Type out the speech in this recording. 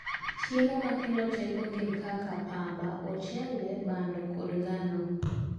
chiemo makelo teko gin kaka pamba, ochele. bando, kod ngano